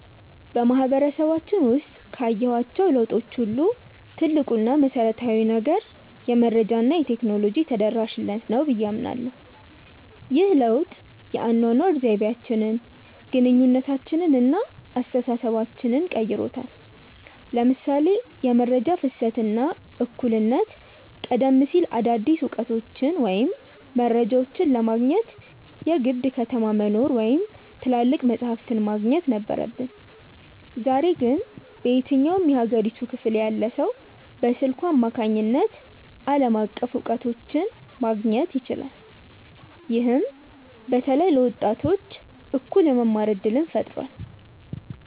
በማህበረሰባችን ውስጥ ካየኋቸው ለውጦች ሁሉ ትልቁ እና መሰረታዊው ነገር "የመረጃ እና የቴክኖሎጂ ተደራሽነት" ነው ብዬ አምናለሁ። ይህ ለውጥ የአኗኗር ዘይቤያችንን፣ ግንኙነታችንን እና አስተሳሰባችንን ቀይሮታል ለምሳሌ የመረጃ ፍሰት እና እኩልነት ቀደም ሲል አዳዲስ እውቀቶችን ወይም መረጃዎችን ለማግኘት የግድ ከተማ መኖር ወይም ትላልቅ መጻሕፍት ማግኘት ነበረብን። ዛሬ ግን በየትኛውም የሀገሪቱ ክፍል ያለ ሰው በስልኩ አማካኝነት ዓለም አቀፍ እውቀቶችን ማግኘት ይችላል። ይህም በተለይ ለወጣቶች እኩል የመማር እድልን ፈጥሯል።